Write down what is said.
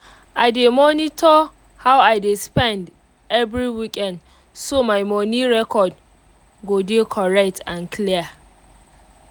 i dey monitor how i dey spend every weekend so my moni record go dey correct and clear